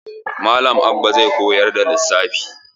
Malam Abba zai koyar da lissafi.